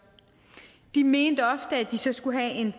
de mente ofte at de så skulle have en